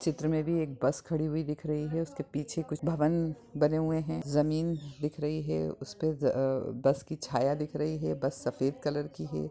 चित्र में भी एक बस खड़ी हुई दिख रही है उसके पीछे कुछ भवन बने हुए हैं जमीन दिख रही है उसपे बस की छाया दिख रही है बस सफेद कलर की है।